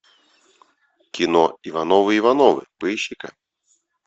кино ивановы ивановы поищи ка